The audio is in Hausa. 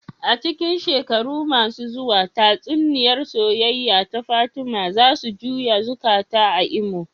A cikin shekaru masu zuwa, tatsuniyar soyayya ta Fatima za su juya zukata a Imo.